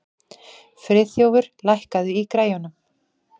Friðþjófur, lækkaðu í græjunum.